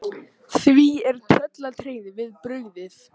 Því er tröllatryggð við brugðið.